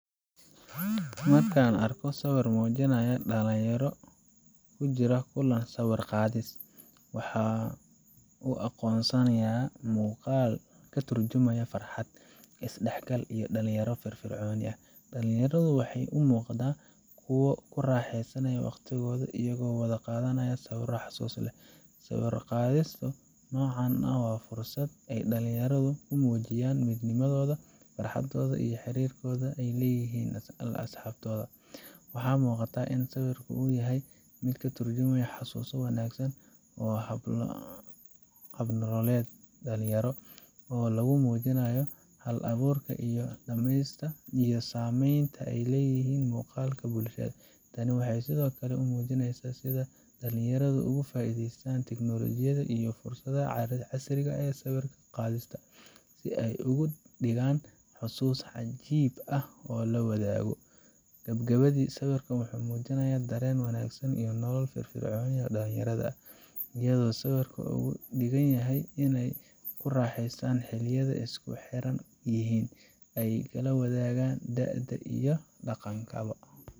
Markan arko dhalinyara kujira kulan sawir qadis waxaa u aqonsnayaa muqaaal ka turjumaya farxad is dhaxgal iyo dhalinyaro firfircooni dhallinyaradu axay u muuqataa kuwo ku raxesanaya waqtigooda iyagoo wada qaadanaya sawiro xasuus leh sawira qaadistu nocaan ah waa fursad ay dhalinyaradu ku mujiyaan midnimadooda farxadoodda iyo xirirka ay leyihin asxabtooda waxaa muqataa sawirku inuu yahay mid ka turjumaya xasuuso wanagsan oo hab nololed dhalinyaro oo lagu muujinayo hal aburk iyo sameynta ay leyihin muqalka bukshada tani waxay sidokale u muujinesa dhalinyaradu uga faidestan teknolojiyada iyo fursadaha casriga ehe sawir qaadista si ay ugu digaan xasuus cajib ah oo lawadago. gabagabadii sawirkan waxuu mujinayaa dhareen wanagsan iyo nolo fir fircooni ah oo dhalinyarada ah iyadoo sawirkan ugu dhigan yahay inay kuraxestan xiliyada ay isku xiran yihiin ay kala wadagaan dha'da iyo dhaqanka bo.